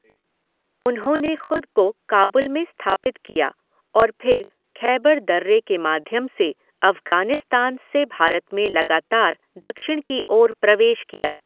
उन्होंने ख़ुद को काबुल में स्थापित किया और फिर ख़ैबर दर्रे के माध्यम से अफ़गानिस्तान से भारत में लगातार दक्षिण की ओर प्रवेश किया।